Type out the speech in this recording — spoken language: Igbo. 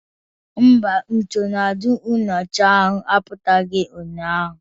Mba, nsonaazụ nyocha ahụ pụtaghị ụnyaahụ